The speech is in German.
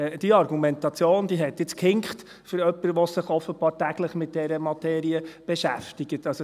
Für jemanden, der sich offenbar täglich mit dieser Materie beschäftigt, hat diese Argumentation jetzt aber gehinkt.